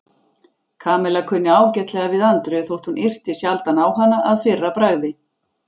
Kamilla kunni ágætlega við Andreu þótt hún yrti sjaldan á hana að fyrra bragði.